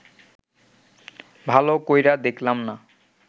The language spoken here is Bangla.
ভাল কইরা দেখলাম না